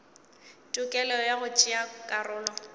tokelo ya go tšea karolo